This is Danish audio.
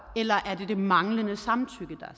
eller er det det manglende samtykke der